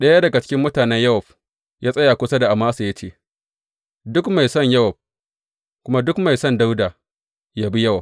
Ɗaya daga cikin mutanen Yowab ya tsaya kusa da Amasa ya ce, Duk mai son Yowab, kuma duk mai son Dawuda, yă bi Yowab!